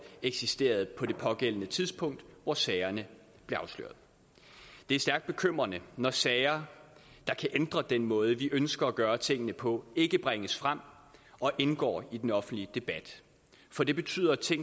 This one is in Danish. eksisteret på det pågældende tidspunkt hvor sagerne blev afsløret det er stærkt bekymrende når sager der kan ændre den måde vi ønsker at gøre tingene på ikke bringes frem og indgår i den offentlige debat for det betyder at ting